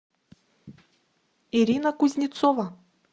ирина кузнецова